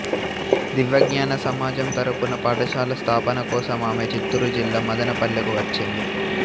దివ్యజ్ఞాన సమాజం తరఫున పాఠశాల స్థాపన కోసం ఆమె చిత్తూరు జిల్లా మదనపల్లెకు వచ్చింది